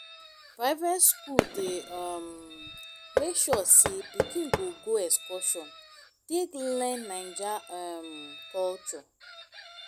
private skool dey um make sure sey pikin go go excursion take learn naija um culture